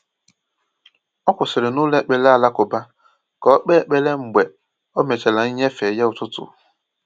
O kwụsịrị n’ụlọ ekpere alakụba ka o kpee ekpere mgbe o mechara nnyefe ya ụtụtụ.